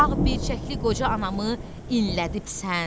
Ağbircəkli qoca anamı inlədibsan.